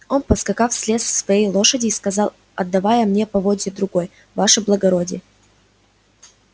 он поскакав слез с своей лошади и сказал отдавая мне поводья другой ваше благородие